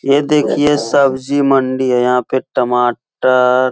ये देखिए सब्जी मंडी है। यहाँ पे टमाटर --